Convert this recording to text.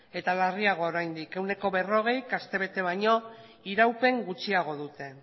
eta larriagoa oraindik ehuneko berrogeik astebete baino iraupen gutxiago dute